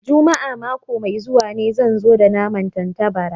Juma'a mako mai zuwa ne zan zo da naman tattabarai